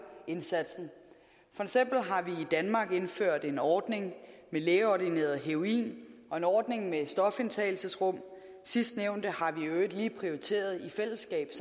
indsatsen for eksempel har vi i danmark indført en ordning med lægeordineret heroin og en ordning med stofindtagelsesrum sidstnævnte har vi i øvrigt lige prioriteret i fællesskab